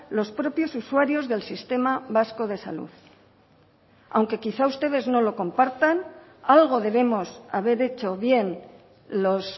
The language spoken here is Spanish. los propios usuarios del sistema vasco de salud aunque quizás ustedes no lo compartan algo debemos haber hecho bien los